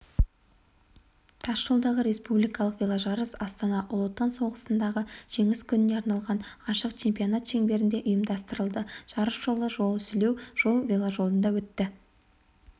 тасжолдағы республикалық веложарыс астана ұлы отан соғысындағы жеңіс күніне арналған ашық чемпионат шеңберінде ұйымдастырылды жарыс жолы жол-сүлеу жол веложолында өтті